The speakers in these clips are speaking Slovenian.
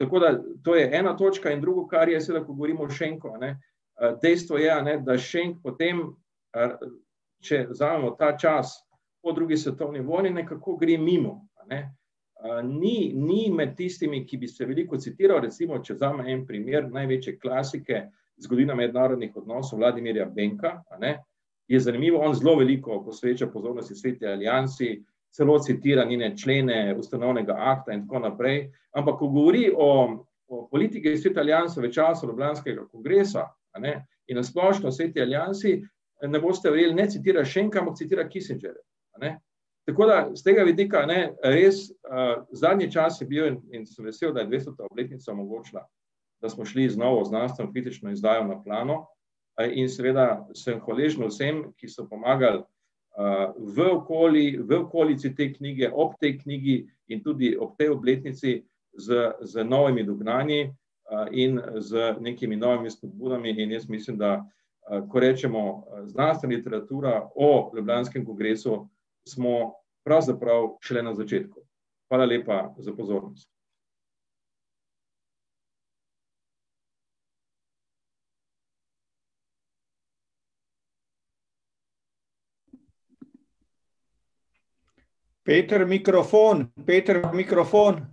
Tako da to je ena točka in drugo, kar je, seveda ko govorimo o Šenku, a ne, dejstvo je, a ne, da Šenk potem, če vzamemo ta čas po drugi svetovni vojni, nekako gre mimo, a ne. ni, ni med tistimi, ki bi se veliko citirali, recimo če vzamem en primer največje klasike, Zgodovina mednarodnih odnosov Vladimirja Benka, a ne, je zanimivo, on zelo veliko posveča pozornosti Sveti aliansi, celo citira njene člene ustanovnega akta in tako naprej, ampak ko govori o, o politiki Svete alianse v času ljubljanskega kongresa, a ne, in na splošno Sveti aliansi, ne boste verjeli, ne citira Šenka, ampak citira Kissingerja. A ne. Tako da s tega vidika, a ne, res, zadnji čas je bil in sem vesel, da je dvestota obletnica omogočila, da smo šli znova v znanstveno kritično izdajo , in seveda sem hvaležen vsem, ki so pomagali, v v okolici te knjige, ob tej knjigi in tudi ob tej obletnici z, z novimi dognanji, in z nekimi novimi spodbudami, in jaz mislim, da, ko rečemo znanstvena literatura o ljubljanskem kongresu, smo pravzaprav šele na začetku. Hvala lepa za pozornost. Peter, mikrofon, Peter, mikrofon.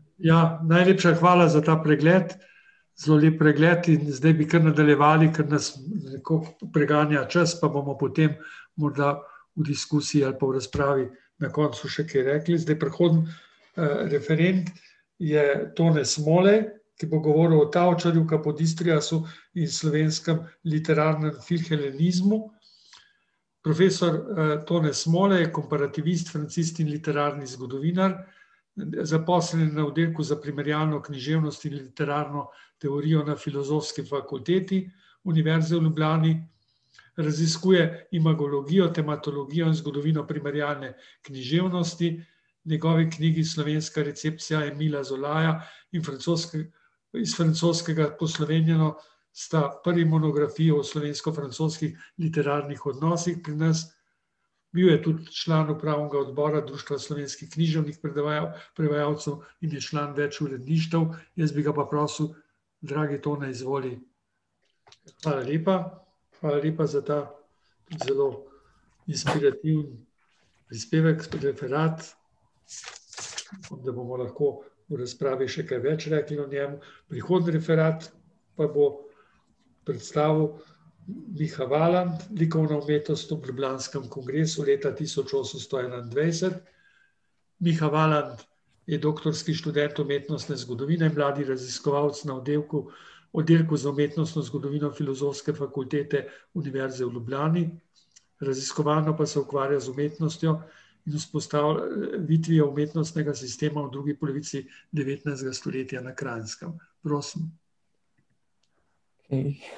[anonimiziran govor]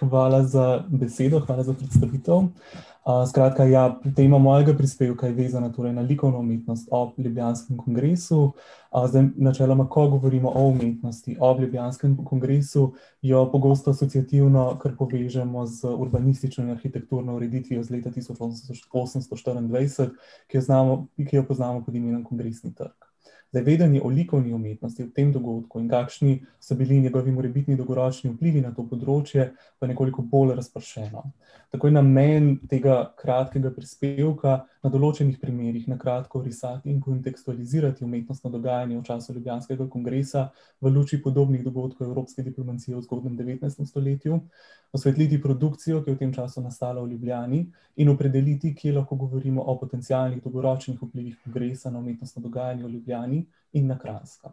hvala za besedo, hvala za predstavitev. skratka ja, tema mojega prispevka je vezana torej na likovno umetnost ob ljubljanskem kongresu. zdaj, načeloma ko govorimo o umetnosti ob ljubljanskem kongresu, jo pogosto asociativno kar povežemo z urbanistično in arhitekturno ureditvijo z leta tisoč osemsto štiriindvajset, ki jo znamo, ki jo poznamo pod imenom Kongresni trg. Zdaj, vedenje o likovni umetnosti ob tem dogodku in kakšni so bili njegovi morebitni dolgoročni vplivi na to področje, pa je nekoliko bolj razpršeno. Tako je namen tega kratkega prispevka na določenih primerih na kratko in kontekstualizirati umetnostno dogajanje v času ljubljanskega kongresa v luči podobnih dogodkov evropske diplomacije v zgodnjem devetnajstem stoletju, osvetliti produkcijo, ki je v tem času nastala v Ljubljani, in opredeliti, kje lahko govorimo o potencialnih dolgoročnih vplivih kongresa na umetnostno dogajanje v Ljubljani in na Kranjskem.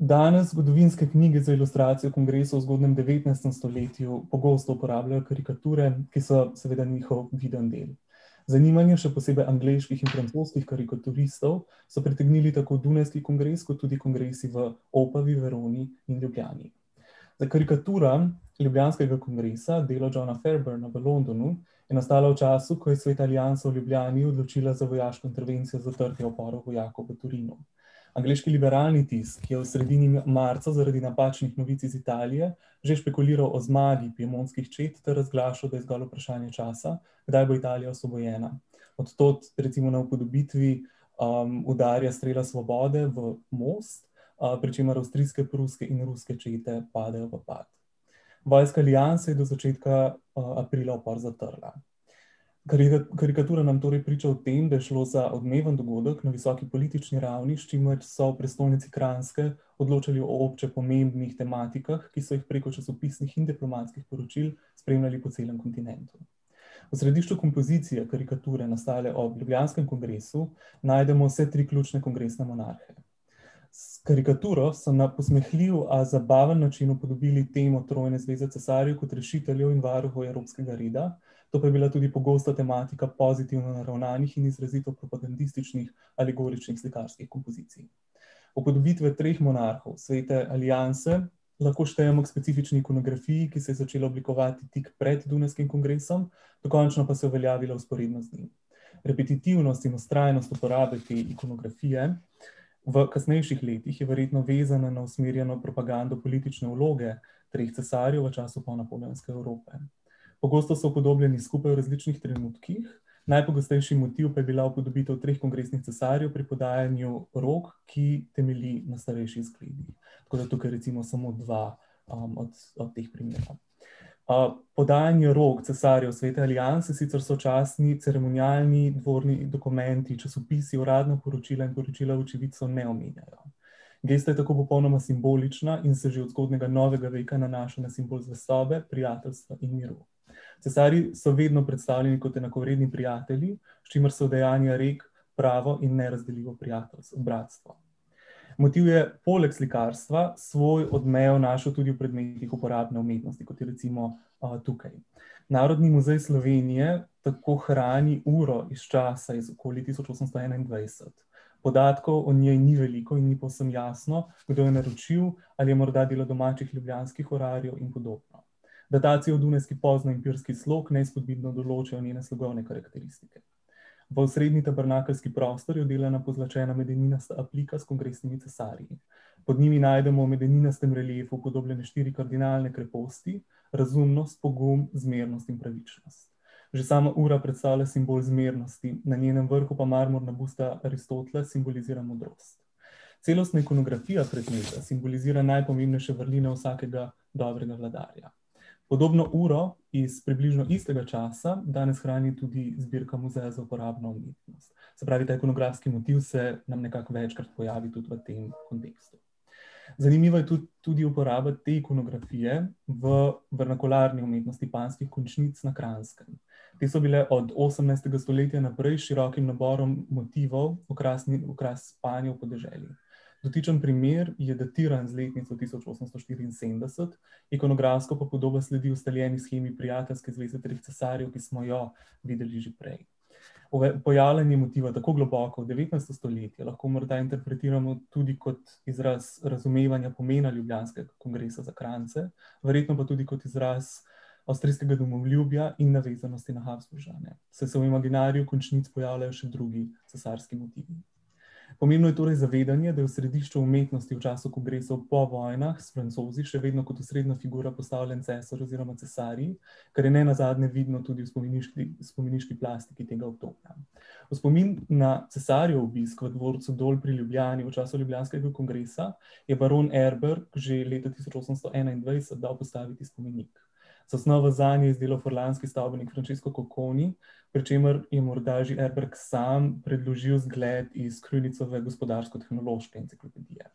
danes zgodovinske knjige za ilustracijo kongresa v zgodnjem devetnajstem stoletju pogosto uporabljajo karikature, ki so seveda njihov vidni del. Zanimanje, še posebej angleških in francoskih karikaturistov, so pritegnili tako dunajski kongres kot tudi kongresi v Opavi, Veroni in Ljubljani. Ta karikatura ljubljanskega kongresa, delo Johna Ferberna v Londonu, je nastala v času, ko je Sveta aliansa v Ljubljani odločila za vojaško intervencijo zatrtja upora vojakov v Torinu. Angleški liberalni tisk, ki je v sredini marca zaradi napačnih novic iz Italije že špekuliral o zmagi piemontskih čet ter razglašal, da je zgolj vprašanje časa, kdaj bo Italija osvobojena. Od tod recimo na upodobitvi, udarja strela svobode v most, pri čemer avstrijske, pruske in ruske čete padejo v prepad. Vojska aliansa je do začetka, aprila upor zatrla. karikatura nam torej priča o tem, da je šlo za odmeven dogodek na visoki politični ravni, s čimer so v prestolnici Kranjske odločali o obče pomembnih tematikah, ki so jih preko časopisnih in diplomatskih poročil spremljali po celem kontinentu. V središču kompozicije karikature, nastale ob ljubljanskem kongresu, najdemo vse tri ključne kongresne monarhe. karikaturo so na posmehljiv, a zabaven način upodobili temo trojne zveze cesarjev kot rešiteljev in varuhov evropskega reda. To pa je bila tudi pogosta tematika pozitivno naravnanih in izrazito propagandističnih alegoričnih slikarskih kompozicij. Upodobitve treh monarhov Svete alianse lahko štejemo k specifični ikonografiji, ki se je začela oblikovati tik pred dunajskim kongresom, dokončno pa se je uveljavila vzporedno z njim. Repetitivnost in vztrajnost uporabe te ikonografije v kasnejših letih je verjetno vezana na usmerjeno propagando politične vloge treh cesarjev v času ponapoleonske Evrope. Pogosto so upodobljeni skupaj v različnih trenutkih, najpogostejši motiv pa je bila upodobitev treh kongresnih cesarjev pri podajanju rok, ki temelji na starejši . Tako da tukaj recimo samo dva, od teh primerov. o podajanju rok vladarjev Svete alianse sicer sočasni ceremonialni dvorni dokumenti, časopisi, uradna poročila in poročila očividcev so neomenjena. Gesta je tako popolnoma simbolična in se že od zgodnjega novega veka nanaša na simbol zvestobe, prijateljstva in miru. Cesarji so vedno predstavljeni kot enakovredni prijatelji, s čimer se udejanja rek: pravo in nerazdeljivo prijateljstvo, bratstvo. Motiv je poleg slikarstva svoj odmev našel tudi v predmetih uporabne umetnosti, kot je recimo, tukaj. Narodni muzej Slovenije tako hrani uro iz časa iz okoli tisoč osemsto enaindvajset. Podatkov o njej ni veliko in ni povsem jasno, kdo je naročil, ali je morda bilo domačih ljubljanskih urarjev in podobno. Datacija v dunajski pozni empirski slog neizpodbitno določa njene strokovne karakteristike. V osprednji tabernakeljski prostor je vdelana pozlačena medeninasta aplika s kongresnimi cesarji. Pod njimi najdemo v medeninastem reliefu upodobljene štiri kardinalne kreposti: razumnost, pogum, zmernost in pravičnost. Že sama ura predstavlja simbol zmernosti, na njenem vrhu pa marmorna Aristotela simbolizira modrost. Celostna ikonografija predmeta simbolizira najpomembnejše vrline vsakega dobrega vladarja. Podobno uro iz približno istega časa danes hrani tudi zbirka Muzeja za uporabno umetnost. Se pravi, ta ikonografski motiv se nam nekako večkrat pojavi tudi v tem kontekstu. Zanimiva je tudi uporaba te ikonografije v, v umetnosti panjskih končnic na Kranjskem. Te so bile od osemnajstega stoletja naprej s širokim naborom motivov okrasni okras panjev v podeželju. Dotični primer je datiran z letnico tisoč osemsto štiriinsedemdeset, ikonografsko pa podoba sledi ustaljeni shemi prijateljske zveze treh cesarjev, ki smo jo videli že prej. pojavljanje motiva tako globoko v devetnajsto stoletje lahko morda interpretiramo tudi kot izraz razumevanja pomena ljubljanskega kongresa za Kranjce, verjetno pa tudi kot izraz avstrijskega domoljubja in navezanosti na Habsburžane, saj se v imaginariju končnic pojavljajo še drugi cesarski motivi. Pomembno je torej zavedanje, da je v središču umetnosti v času kongresa po vojnah s Francozi še vedno kot osrednja figura postavljen cesar oziroma cesarji, kar je nenazadnje vidno tudi v spomeniški, spomeniški plasti tega obdobja. V spomin na cesarjev obisk v dvorcu Dol pri Ljubljani v času ljubljanskega kongresa je baron Erberg že leta tisoč osemsto enaindvajset dal postaviti spomenik. Zasnovo zanje je izdelal furlanski stavbnik Francesco Cocconi, pri čemer je morda že Erberg sam predložil zgled iz gospodarsko-tehnološke enciklopedije.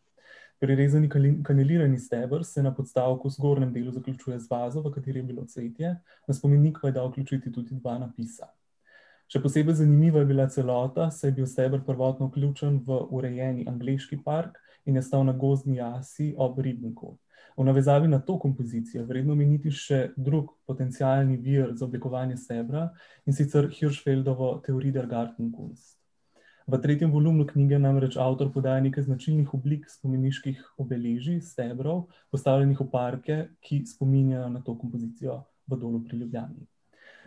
Prirezani kandelirani steber se na podstavku v zgornjem delu zaključuje z vazo, v kateri je bilo cvetje, na spomenik pa je dal vključiti tudi dva napisa. Še posebej zanimiva je bila celota, saj je bil steber prvotno vključen v urejeni angleški park in je stal na gozdni jasi ob ribniku. V navezavi na to kompozicijo je vredno omeniti še drug potencialni vir za oblikovanje stebra, in sicer Hirschfeldovo Theorie der Gartenkunst. V tretjem volumnu knjige namreč avtor poda nekaj značilnih oblik spomeniških obeležij, stebrov, postavljenih v parke, ki spominjajo na to kompozicijo v Dolu pri Ljubljani.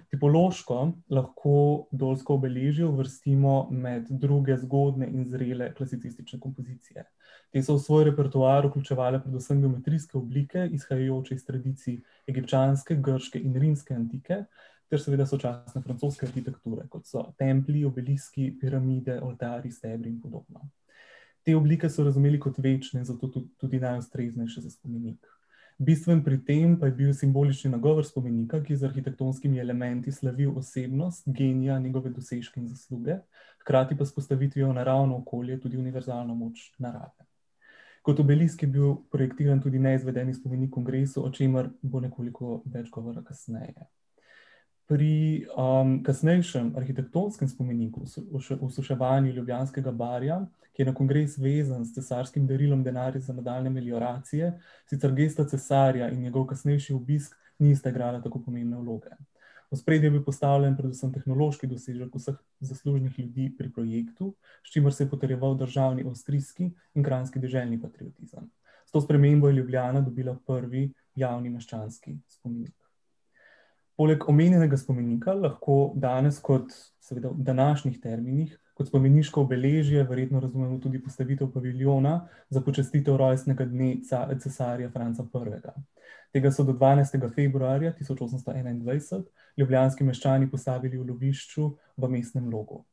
Tipološko lahko dolsko obeležje uvrstimo med druge zgodnje in zrele klasicistične kompozicije. Te so v svoj repertoar vključevale predvsem geometrijske oblike, izhajajoč iz tradicij egipčanske, grške in rimske antike ter seveda sočasne francoske arhitekture, kot so templji, obeliski, piramide, oltarji, stebri in podobno. Te oblike so razumeli kot večne, zato tudi najustreznejše za spomenik. Bistven pri tem pa je bil simbolični nagovor spomenika, ki je z arhitektonskimi elementi slavil osebnost, genija, njegove dosežke in zasluge, hkrati pa s postavitvijo v naravno okolje tudi univerzalno moč narave. Kot obelisk je bil produktiven tudi neizvedeni spomenik kongresu, ob čemer bo nekoliko več govora kasneje. Pri, kasnejšem arhitektonskem spomeniku, osuševanju Ljubljanskega barja, ki je na kongres vezan s cesarskim darilom, denarjem za nadaljnje , sicer gesta cesarja in njegov kasnejši obisk nista igrala tako pomembne vloge. V ospredje je bil postavljen predvsem tehnološki dosežek vseh zaslužnih ljudi pri projektu, s čimer se je potrjeval državni avstrijski in kranjski deželni patriotizem. S to spremembo je Ljubljana dobila prvi javni meščanski spomenik. Poleg omenjenega spomenika lahko danes kot, seveda v današnjih terminih, kot spomeniško obeležje verjetno razumemo tudi postavitev paviljona za počastitev rojstnega dne cesarja Franca Prvega. Tega so do dvanajstega februarja tisoč osemsto enaindvajset ljubljanski meščani postavili v lovišču v Mestnem logu.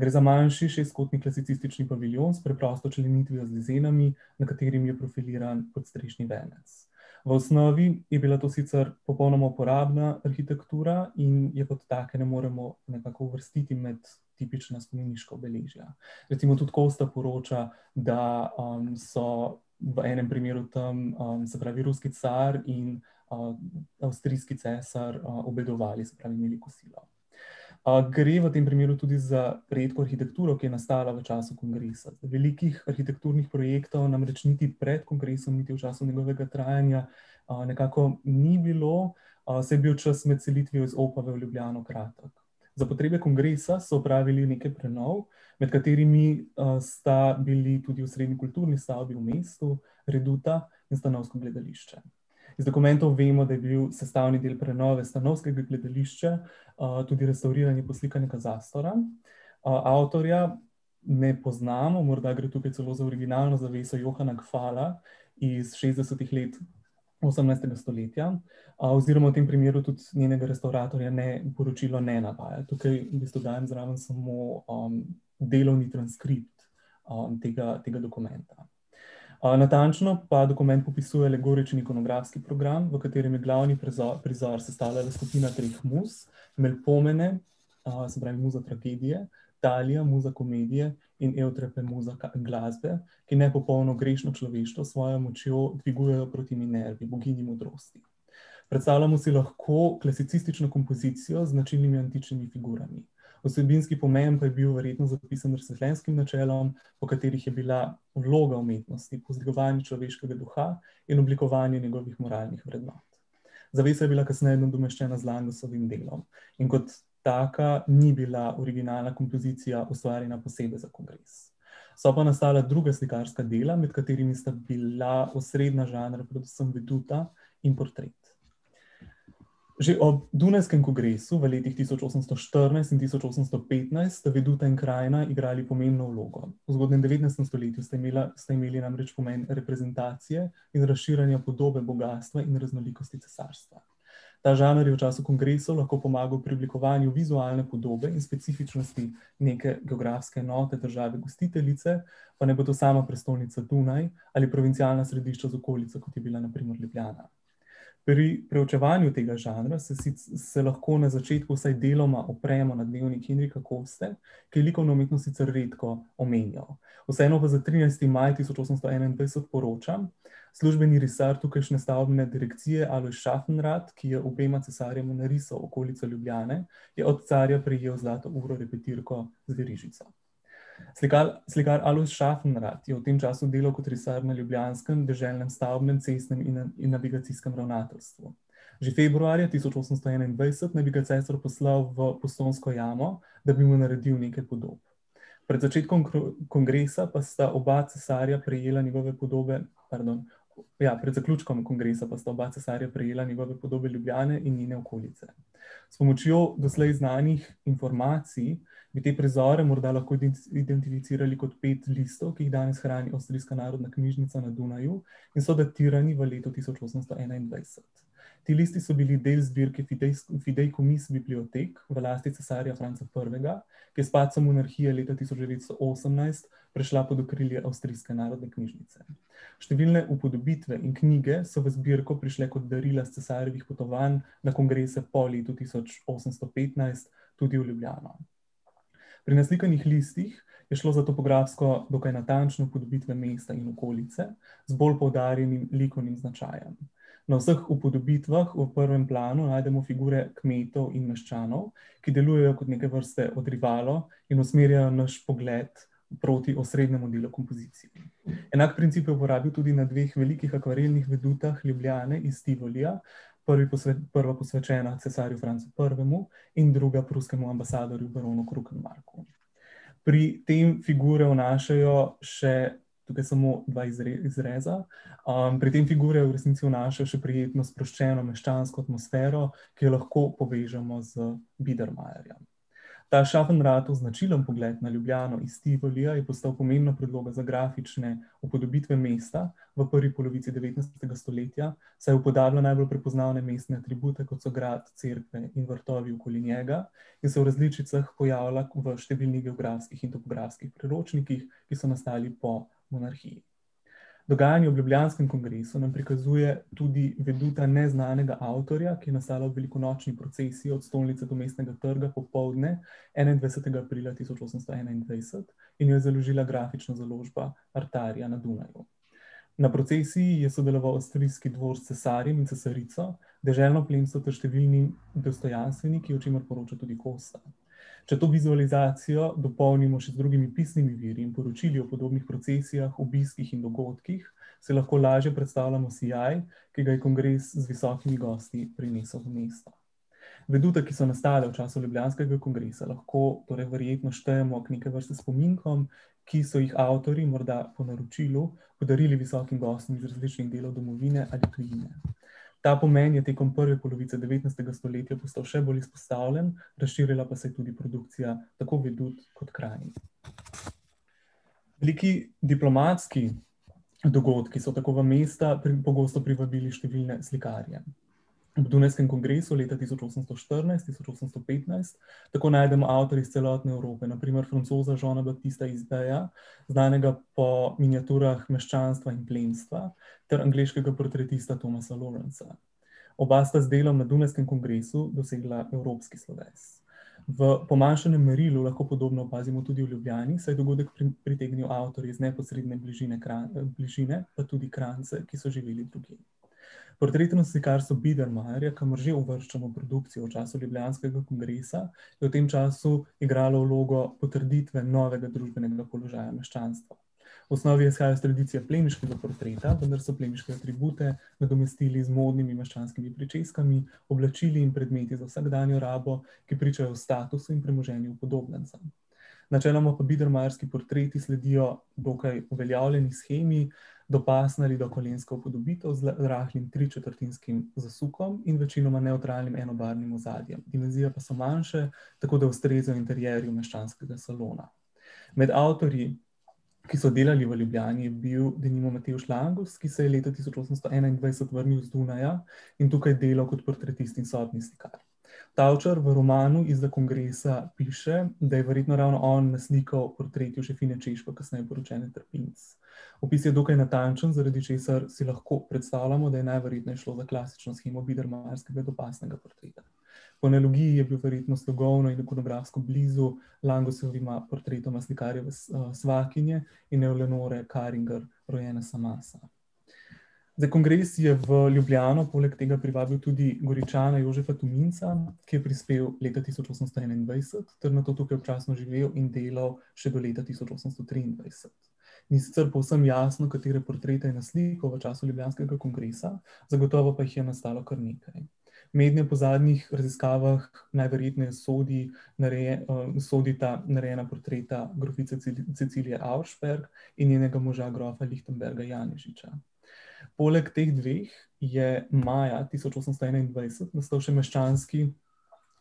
Gre za manjši šestkotni klasicistični paviljon s preprosto členitvijo z , na katerem je profiliran kot strešni venec. V osnovi je bila to sicer popolna uporabna arhitektura in je kot take ne moremo nekako uvrstiti med tipična spomeniška obeležja. Recimo tudi Kosta poroča, da, so v enim primeru tam, se pravi ruski car in, avstrijski cesar obedovali, se pravi imeli kosilo. gre v tem primeru tudi za redko arhitekturo, ki je nastala v času kongresa, velikih arhitekturnih projektov namreč niti pred kongresom niti v času njegovega trajanj, nekako ni bilo, saj je bil čas med selitvijo iz Opave v Ljubljano kratek. Za potrebe kongresa so opravili nekaj prenov, med katerimi, sta bili tudi osrednji kulturni stavbi v mestu, reduta in stanovsko gledališče. Iz dokumentov vemo, da je bil sestavni del prenove stanovskega gledališča, tudi restavriranje in poslikanje , avtorja ne poznamo, morda gre tukaj celo za originalno zaveso Johana Hgvala iz šestdesetih let osemnajstega stoletja. oziroma v tem primeru tudi njenega restavratorja, ne, poročilo ne navaja, tukaj v bistvu dajem zraven samo, delovni transkript, tega, tega dokumenta. natančno pa dokument opisuje alegorični ikonografski program, v katerem je glavni prizor sestavljala skupina treh muz, , se pravi muza tragedije, Talija, muza komedije, in muza glasbe, ki nepopolno grešno človeštvo s svojo močjo dvigujejo proti Minervi, boginji modrosti. Predstavljamo si lahko klasicistično kompozicijo z značilnimi antičnimi figurami. Vsebinski pomen pa je bil verjetno zapisan razsvetljenskim načelom, v katerih je bila vloga umetnosti povzdigovanje človeškega duha in oblikovanje njegovih moralnih vrednot. Zavesa je bila kasneje nadomeščena z delom in kot taka ni bila originalna kompozicija, ustvarjena posebej za kongres. So pa nastala druga slikarska dela, med katerimi sta bila osrednja žanra predvsem veduta in portret. Že ob dunajskem kongresu v letih tisoč osemsto štirinajst in tisoč osemsto petnajst sta veduta in krajina igrali pomembno vlogo. V zgodnjem devetnajstem stoletju sta imela, sta imeli namreč pomen reprezentacije in razširjanja podobe bogastva in raznolikosti cesarstva. Ta žanr je v času kongresov lahko pomagal pri oblikovanju vizualne podobe in specifičnosti neke geografske enote države gostiteljice. Pa naj bo to sama prestolnica Dunaj ali provincialna središča z okolico, kot je bila na primer Ljubljana. Pri preučevanju tega žanra se se lahko na začetku vsaj deloma opremo na dnevnik Henrika Koste, ki je likovno umetnost sicer redko omenjal. Vseeno pa za trinajsti maj tisoč osemsto enaindvajset poroča službeni risar tukajšnje stavbne direkcije, Alojz Schaffenrad, ki je obema cesarjema narisal okolico Ljubljane, je od carja prejel zlato uro repitirko z verižico. Slikar, slikar Alojz Schaffenrad je v tem času delal kot risar na ljubljanskem deželnem, stavbnem, cestnem in navigacijskem ravnateljstvu. Že februarja tisoč osemsto enaindvajset naj bi ga cesar poslal v Postojnsko jamo, da bi mu naredil nekaj podob. Pred začetkom kongresa pa sta oba cesarja prejela njegove podobe ... Pardon, ja, pred zaključkom kongresa pa sta oba cesarja prejela njegove podobe Ljubljane in njene okolice. S pomočjo doslej znanih informacij bi te prizore morda lahko identificirali kot pet listov, ki jih danes hrani avstrijska narodna knjižnica na Dunaju in so datirani v letu tisoč osemsto enaindvajset. Ti listi so bili del zbirke bibliotek v lasti cesarja Franca Prvega, ki je s padcem monarhije leta tisoč devetsto osemnajst prišla pod okrilje avstrijske narodne knjižnice. Številne upodobitve in knjige so v zbirko prišle kot darila s cesarjevih potovanj na kongrese po letu tisoč osemsto petnajst tudi v Ljubljano. Pri naslikanih listih je šlo za topografsko dokaj natančne upodobitve mesta in okolice, z zgolj poudarjenim likovnim značajem. Na vseh upodobitvah v prvem planu najdemo figure kmetov in meščanov, ki delujejo kot neke vrste odribalo in usmerjajo naš pogled proti osrednjemu delu kompozicij. Enak princip je uporabil tudi na dveh velikih akvarelnih vedutah Ljubljane iz Tivolija, prvi prva posvečena cesarju Francu Prvemu in druga pruskemu ambasadorju, baronu Krukembarku. Pri tem figure vnašajo še tukaj samo dva izreza, pri tem figure v resnici vnašajo še prijetno, sproščeno meščansko atmosfero, ki jo lahko povežemo z bidermajerjem. Ta značilni pogled na Ljubljano iz Tivolija je postal pomembna predloga za grafične upodobitve mesta v prvi polovici devetnajstega stoletja, saj upodablja najbolj prepoznavne mestne atribute, kot so grad, cerkve in vrtovi okoli njega, ki se v različicah pojavlja v številnih geografskih in topografskih priročnikih, ki so nastali po monarhiji. Dogajanje ob ljubljanskem kongresu nam prikazuje tudi veduta neznanega avtorja, ki je nastala ob velikonočni procesiji od stolnice do Mestnega trga popoldne, enaindvajsetega aprila tisoč osemsto enaindvajset, in jo je založila grafična založba Artarija na Dunaju. Na procesiji je sodeloval avstrijski dvor s cesarjem in cesarico, deželno plemstvo ter številni dostojanstveniki, o čemer poroča tudi Kosta. Če to vizualizacijo dopolnimo še z drugimi pisnimi viri, poročilih o podobnih procesijah, obiskih in dogodkih, si lahko lažje predstavljamo sijaj, ki ga je kongres z visokimi gosti prinesel v mesto. Vedute, ki so nastajale v času ljubljanskega kongresa, lahko torej verjetno štejemo k neke vrste spominkom, ki so jih avtorji morda po naročilu podarili visokim gostom z različnih delov domovine ali tujine. Ta pomen je tekom prve polovice devetnajstega stoletja postal še bolj izpostavljen, razširila pa se je tudi produkcija tako vedut kot krajin. Veliki, diplomatski dogodki so tako v mesta pogosto privabili številne slikarje. Ob dunajskem kongresu leta tisoč osemsto štirinajst-tisoč osemsto petnajst tako najdemo avtorje iz celotne Evrope, na primer francoza Jeana Baptista iz , znanega po miniaturah meščanstva in plemstva, ter angleškega portretista Thomasa Lawrencea. Oba sta z delom na dunajskem kongresu dosegla evropski sloves. V pomanjšanem merilu lahko podobno opazimo tudi v Ljubljani, saj je dogodek pritegnil avtorje iz neposredne bližine bližine, pa tudi Kranjce, ki so živeli tukaj. Portretom slikarstva bidermajerja, kamor že uvrščamo produkcijo v času ljubljanskega kongresa, je v tem času igralo vlogo potrditve novega družbenega položaja meščanstva. V osnovi je izhajal iz tradicije plemiškega potreta, vendar so plemiške atribute nadomestili z modnimi meščanskimi pričeskami, oblačili in predmeti za vsakdanjo rabo, ki pričajo o statusu in premoženju upodobljencev. Načeloma pa bidermajerski portreti sledijo dokaj uveljavljeni shemi, dopasna ali dokolenska upodobitev z rahlim tričetrtinskim zasukom in večinoma nevtralnim enobarvnim ozadjem, invazije pa so manjše, tako da ustreza interierju meščanskega salona. Med avtorji, ki so delali v Ljubljani, je bil denimo Matevž Langus, ki se je leta tisoč osemsto enaindvajset vrnil z Dunaja in tukaj delal kot potretist in sobni slikar. Tavčar v romanu Izza kongresa piše, da je verjetno ravno on naslikal portret Jožefine Češko, kasneje poročene Trpinc. Opis je dokaj natančen, zaradi česar si lahko predstavljamo, da je najverjetneje šlo za klasično shemo bidermajerskega dopasnega portreta. Po je bil verjetno slogovno in ikonografsko blizu Langusovima portretoma slikarjeve svakinje, Karinger, rojena Samasa. Zdaj, kongres je v Ljubljano poleg tega privabil tudi Goričane, Jožefa Tominca, ki je prispel leta tisoč osemsto enaindvajset ter nato tukaj občasno živel in delal še do leta tisoč osemsto triindvajset. Ni sicer povsem jasno, katere portrete je naslikal v času ljubljanskega kongresa, zagotovo pa jih je nastalo kar nekaj. Mednje po zadnjih raziskavah najverjetneje sodi sodita narejena portreta grofice Cecilije Auersperg in njenega moža, grofa Lichtenberga Janežiča. Poleg teh dveh je maja tisoč osemsto enaindvajset nastal še meščanski